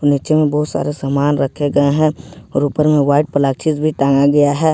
नीचे में बहुत सारा सामान रखे गए हैं और ऊपर में व्हाइट प्लास्टिक टांगा गया है ।